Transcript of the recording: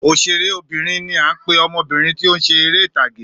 Òṣèré obìnrin ni a ń pe ọmọbìrin tí o ń ṣe eré ìtàgé